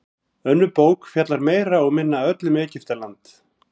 önnur bók fjallar meira og minna öll um egyptaland